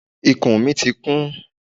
Ikùn mi ti kún.